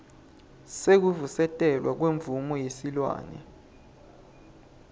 sekuvusetelwa kwemvumo yesilwane